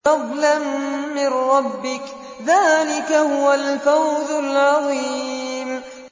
فَضْلًا مِّن رَّبِّكَ ۚ ذَٰلِكَ هُوَ الْفَوْزُ الْعَظِيمُ